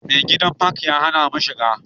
Mai gadin fak ya hana mu shiga